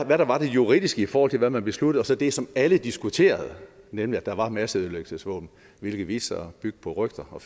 hvad der var det juridiske i forhold til hvad man besluttede og så det som alle diskuterede nemlig at der var masseødelæggelsesvåben hvilket viste sig at bygge på rygter og